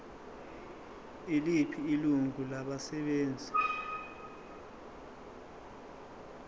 yiliphi ilungu labasebenzi